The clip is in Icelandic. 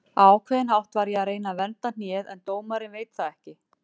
Á ákveðinn hátt var ég að reyna að vernda hnéð en dómarinn veit það ekki.